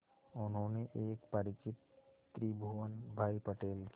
उन्होंने एक परिचित त्रिभुवन भाई पटेल के